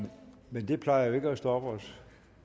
men det plejer jo ikke at stoppe os